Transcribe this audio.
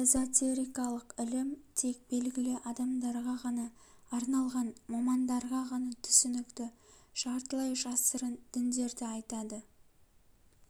эзотерикалык ілім тек белгілі адамдарға ғана арналған мамандарға ғана түсінікті жартылай жасырын діндерді айтады